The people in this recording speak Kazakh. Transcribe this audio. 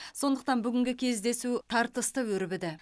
сондықтан бүгінгі кездесу тартысты өрбіді